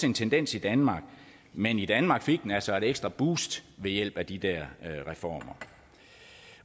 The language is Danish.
en tendens i danmark men i danmark fik den altså et ekstra boost ved hjælp af de der reformer